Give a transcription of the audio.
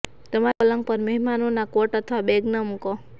તમારા પલંગ પર મહેમાનોના કોટ અથવા બેગ ન મૂકો